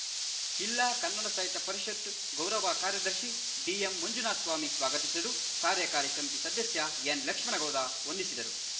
ಜಿಲ್ಲಾ ಕನ್ನಡ ಸಾಹಿತ್ಯ ಪರಿಷತ್ ಗೌರವ ಕಾರ್ಯದರ್ಶಿ ಡಿಎಂಮಂಜುನಾಥಸ್ವಾಮಿ ಸ್ವಾಗತಿಸಿದರು ಕಾರ್ಯಕಾರಿ ಸಮಿತಿ ಸದಸ್ಯ ಎನ್‌ಲಕ್ಷ್ಮಣಗೌಡ ವಂದಿಸಿದರು